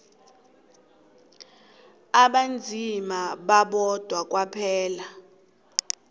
abanzima babodwa kwaphela